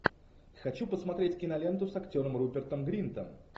хочу посмотреть киноленту с актером рупертом гринтом